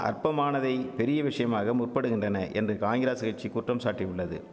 அற்பமானதை பெரிய விஷயமாக முற்படுகின்றன என்று காங்கிராஸ் கட்சி குற்றம்சாட்டியுள்ளது